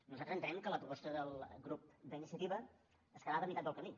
nosaltres entenem que la proposta del grup d’iniciativa es quedava a meitat del camí